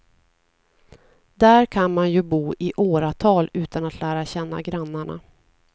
Där kan man ju bo i åratal utan att lära känna grannarna.